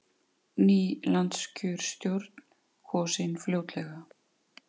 Ný landskjörstjórn kosin fljótlega